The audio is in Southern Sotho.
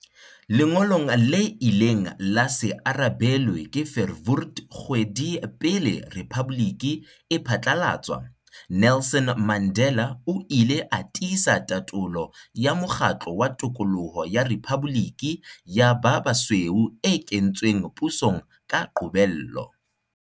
Lengolong le ileng la se arabelwe ke Verwoerd kgwedi pele rephaboliki e phatlalatswa, Nelson Mandela o ile a tiisa tatolo ya mokgatlo wa tokoloho ya rephaboliki ya ba basweu e kentsweng pusong ka qobello.